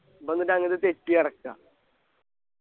ഇപ്പൊ എന്നിട്ട് ങ്ങത്തെ തെറ്റിയടക്കാ